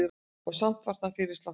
Og samt var það fyrirsláttur.